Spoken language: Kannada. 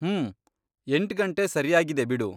ಹ್ಮೂ, ಎಂಟ್ಗಂಟೆ ಸರ್ಯಾಗಿದೆ ಬಿಡು.